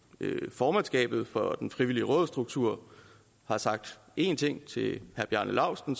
formandskabet for den frivillige rådsstruktur har sagt én ting til herre bjarne laustsen